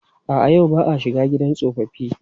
A'a, yau ba a shiga gidan tsofaffi.